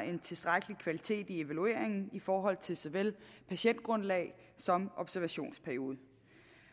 en tilstrækkelig kvalitet i evalueringen i forhold til såvel patientgrundlag som observationsperiode